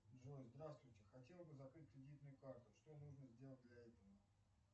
джой здравствуйте хотел бы закрыть кредитную карту что нужно сделать для этого